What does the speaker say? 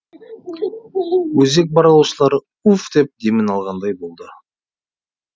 өзек барлаушылары уф деп демін алғандай болды